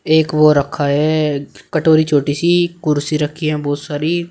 एक वो रखा है कटोरी छोटी सी कुर्सी रखी है बहुत सारी।